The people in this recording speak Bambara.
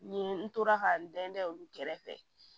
Nin n tora ka n da olu kɛrɛfɛ